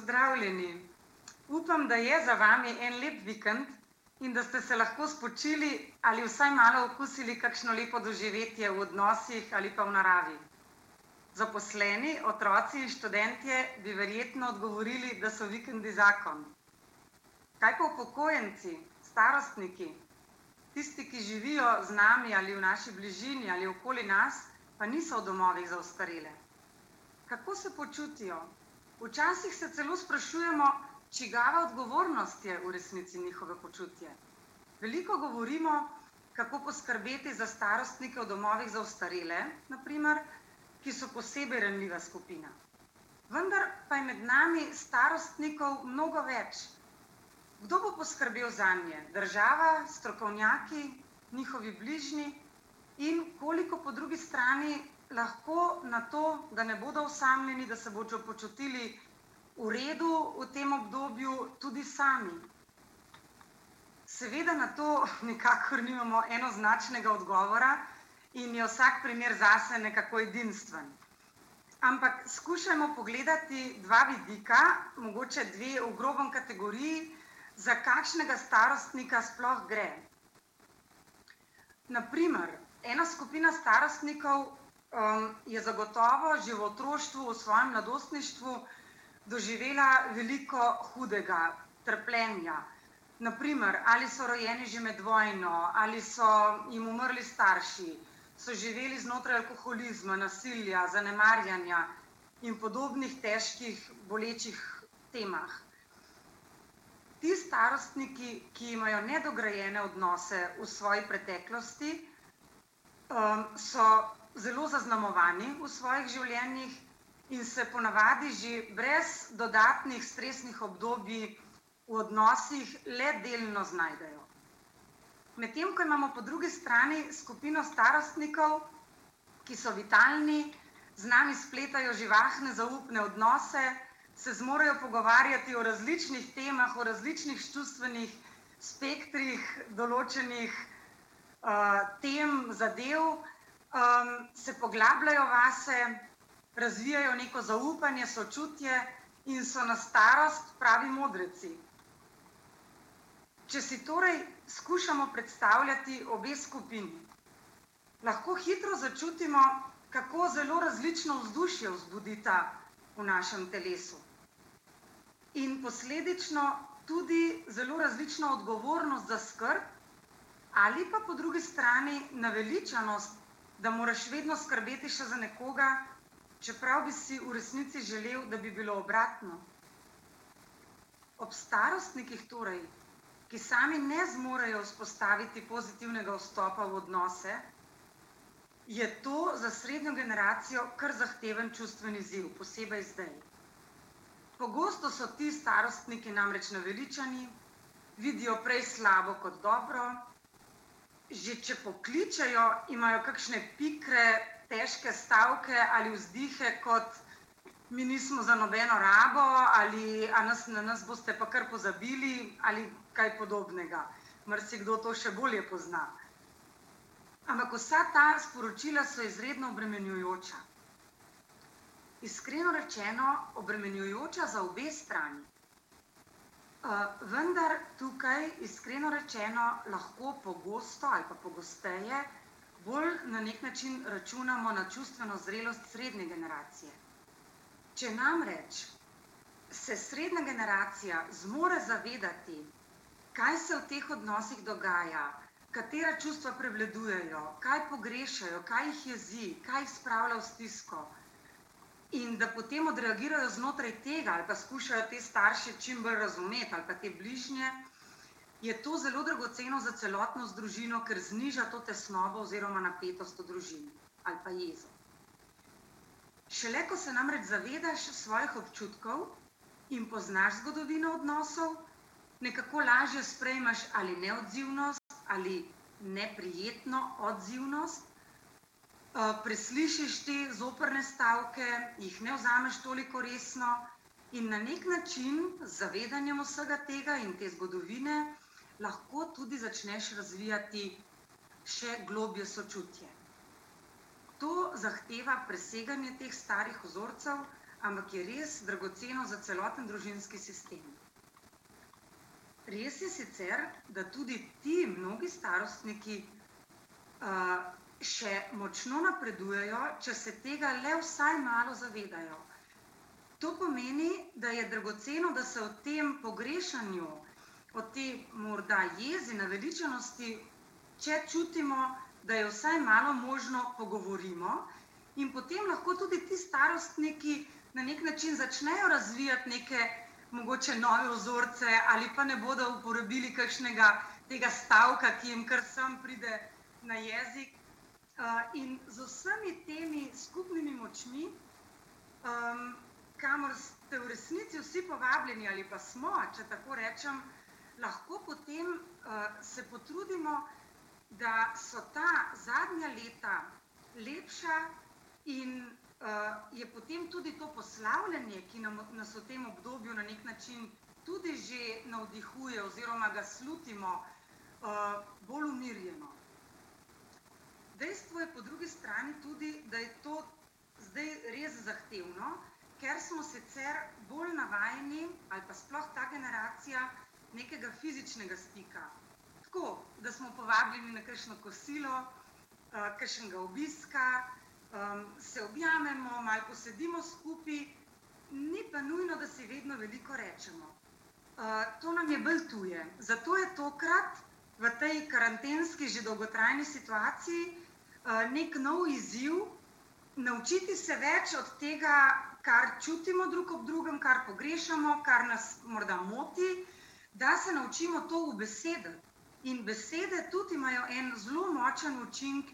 Pozdravljeni! Upam, da je za vami en lep vikend in da ste se lahko spočili ali vsaj malo okusili kakšno lepo doživetje v odnosih ali pa v naravi. Zaposleni, otroci in študentje bi verjetno odgovorili, da so vikendi zakon. Kaj pa upokojenci, starostniki, tisti, ki živijo z nami ali v naši bližini ali okoli nas, pa niso v domovih za ostarele? Kako se počutijo? Včasih se celo sprašujemo, čigava odgovornost je v resnici njihovo počutje. Veliko govorimo, kako poskrbeti za starostnike v domovih za ostarele, na primer, ki so posebej ranljiva skupina. Vendar pa je med nami starostnikov mnogo več. Kdo bo poskrbel zanje? Država, strokovnjaki, njihovi bližnji in koliko po drugi strani lahko na to, da ne bodo osamljeni, da se bodo počutili v redu v tem obdobju, tudi sami? Seveda na to nikakor nimamo enoznačnega odgovora in je vsak primer zase nekako edinstven. Ampak skušajmo pogledati dva vidika, mogoče dve v grobem kategoriji, za kakšnega starostnika sploh gre. Na primer, ena skupina starostnikov, je zagotovo že v otroštvu, v svojem mladostništvu doživela veliko hudega, trpljenja, na primer, ali so rojeni že med vojno, ali so jim umrli starši, so živeli znotraj alkoholizma, nasilja, zanemarjanja in podobnih težkih, bolečih temah. Ti starostniki, ki imajo nedograjene odnose v svoji preteklosti, so zelo zaznamovani v svojih življenjih, in se ponavadi že brez dodatnih stresnih obdobij v odnosih le delno znajdejo. Medtem ko imamo po drugi strani skupino starostnikov, ki so vitalni, z nami spletajo živahne zaupne odnose, se zmorejo pogovarjati o različnih temah, o različnih čustvenih spektrih, določenih, tem, zadev, se poglabljajo vase, razvijajo neko zaupanje, sočutje in so na starost pravi modreci. Če si torej skušamo predstavljati obe skupini, lahko hitro začutimo, kako zelo različno vzdušje vzbudita v našim telesu. In posledično tudi zelo različno odgovornost za skrb ali pa po drugi strani naveličanost, da moraš vedno skrbeti še za nekoga, čeprav bi si v resnici želel, da bi bilo obratno. Ob starostnikih torej, ki sami ne zmorejo vzpostaviti pozitivnega vstopa v odnose, je to za srednjo generacijo kar zahteven čustven izziv, posebej zdaj. Pogosto so ti starostniki namreč naveličani, vidijo prej slabo kot dobro, že če pokličejo, imajo kakšne pikre, težke stavke ali vzdihe kot: "Mi nismo za nobeno rabo," ali: "A nas, na nas boste pa kar pozabili," ali kaj podobnega. Marsikdo to še bolje pozna. Ampak vsa ta sporočila so izredno obremenjujoča. Iskreno rečeno, obremenjujoča za obe strani. vendar tukaj, iskreno rečeno, lahko pogosto ali pa pogosteje bolj na neki način računamo na čustveno zrelost srednje generacije. Če namreč se srednja generacija zmore zavedati, kaj se v teh odnosih dogaja, katera čustva prevladujejo, kaj pogrešajo, kaj jih jezi, kaj jih spravlja v stisko, in da potem odreagirajo znotraj tega ali pa skušajo te starši čim bolj razumeti ali pa te bližnje, je to zelo dragoceno za celotno z družino, ker zniža to tesnobo oziroma napetost v družini. Ali pa jezo. Šele ko se namreč zavedaš svojih občutkov in poznaš zgodovino odnosov, nekako lažje sprejmeš ali neodzivnost ali neprijetno odzivnost, preslišiš te zoprne stavke, jih ne vzameš toliko resno in na neki način, z zavedanjem vsega tega in te zgodovine, lahko tudi začneš razvijati še globlje sočutje. To zahteva preseganje teh starih vzorcev, ampak je res dragoceno za celoten družinski sistem. Res je sicer, da tudi ti mnogi starostniki, še močno napredujejo, če se tega le vsaj malo zavedajo. To pomeni, da je dragoceno, da se v tem pogrešanju, o tej morda jezi, naveličanosti, če čutimo, da je vsaj malo možno, pogovorimo, in potem lahko tudi ti starostniki na neki način začnejo razvijati neke mogoče nove vzorce ali pa ne bodo uporabili kakšnega tega stavka, ki jim kar sem pride na jezik, in z vsemi temi skupnimi močmi, kamor ste v resnici vsi povabljeni ali pa smo, če tako rečem, lahko potem, se potrudimo, da so ta zadnja leta lepša in, je potem tudi to poslavljanje, ki nam, nas v tem obdobju na neki način tudi že navdihuje oziroma ga slutimo, bolj umirjeno. Dejstvo je po drugi strani tudi, da je to zdaj res zahtevno, ker smo sicer bolj navajeni, ali pa sploh ta generacija, nekega fizičnega stika. Tako, da smo povabljeni na kakšno kosilo, kakšnega obiska, se objamemo, malo posedimo skupaj ... Ni pa nujno, da si vedno veliko rečemo. to nam je bolj tuje. Zato je tokrat v tej karantenski že dolgotrajni situaciji, neki nov izziv naučiti se več od tega, kar čutimo drug ob drugem, kar pogrešamo, kar nas morda moti, da se naučimo to ubesediti. In besede tudi imajo en zelo močen učinek